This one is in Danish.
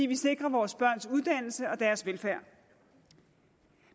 vil sikre vores børns uddannelser og velfærd